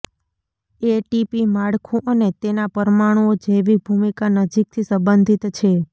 ATP માળખું અને તેના પરમાણુઓ જૈવિક ભૂમિકા નજીકથી સંબંધિત છે